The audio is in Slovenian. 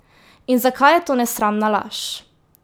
In zakaj je to nesramna laž?